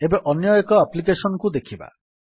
ଏବେ ଅନ୍ୟଏକ ଆପ୍ଲିକେଶନ୍ କୁ ଦେଖିବା